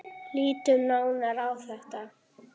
Lítum nánar á þetta.